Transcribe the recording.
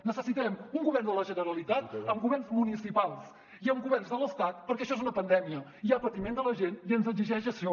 necessitem un govern de la generalitat amb governs municipals i amb governs de l’estat perquè això és una pandèmia hi ha patiment de la gent i ens exigeix això